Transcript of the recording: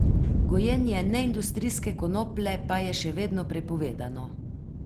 Gojenje neindustrijske konoplje pa je še vedno prepovedano.